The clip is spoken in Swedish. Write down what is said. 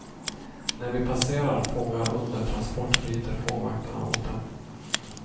När vi passerar fångar under transport ryter fångvaktarna åt dem.